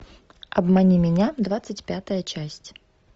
обмани меня двадцать пятая часть